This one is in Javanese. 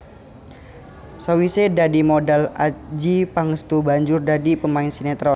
Sawise dadi modhel Adjie Pangestu banjur dadi pemain sinetron